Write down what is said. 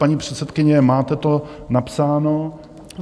Paní předsedkyně, máte to napsáno?